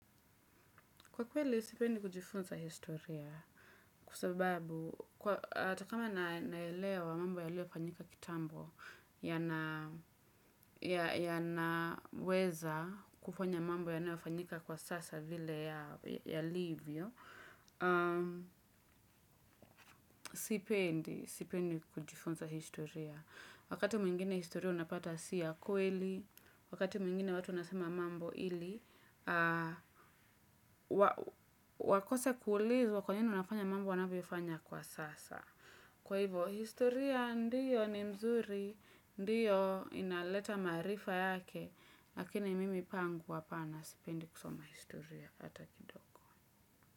Kwa kweli, sipendi kujifunza historia kwa sababu hata kama naelewa mambo yaliyofanyika kitambo yanaweza kufanya mambo yanayofanyika kwa sasa vile yalivyo, sipendi kujifunza historia. Wakati mwingine historia unapata si ya kweli, wakati mwingine watu wanasema mambo ili, wakose kuulizwa kwa nini wanafanya mambo wanavyofanya kwa sasa. Kwa hivyo, historia ndiyo ni mzuri, ndiyo inaleta maarifa yake, lakini mimi pangu hapana sipendi kusoma historia hata kidogo.